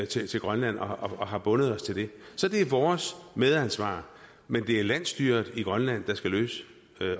til grønland og har bundet os til det så det er vores medansvar men det er landsstyret i grønland der skal løse